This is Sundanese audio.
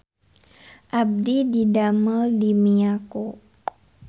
Abdi didamel di Miyako